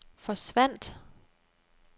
forsvandt